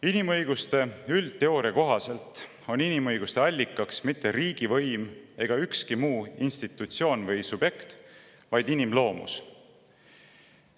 Inimõiguste üldteooria kohaselt ei ole inimõiguste allikaks mitte riigivõim ega ükski muu institutsioon või subjekt, vaid inimloomus.